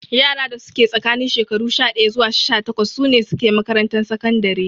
Yara da suke tsakanin shekaru sha ɗaya zuwa sha takwas sune suke makarantar sakandare